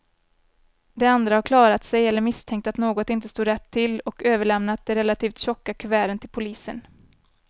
De andra har klarat sig eller misstänkt att något inte stod rätt till och överlämnat de relativt tjocka kuverten till polisen.